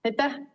Aitäh!